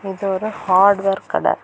இது ஒரு ஹார்ட்வேர் கட.